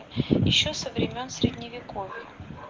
ещё со времён средневековья